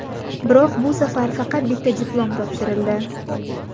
Biroq bu safar faqat bitta diplom topshirildi.